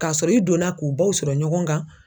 K'a sɔrɔ i donna k'u baw sɔrɔ ɲɔgɔn kan